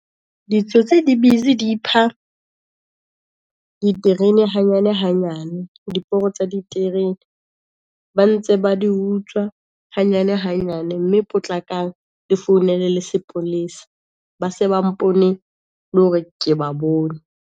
Ditsotsi di busy di ipha diterene hanyane hanyane, diporo tsa diterene, ba ntse ba di utswa hanyane hanyane, mme potlakang le founele le sepolesa. Ba se ba mpone le hore ke ba bone.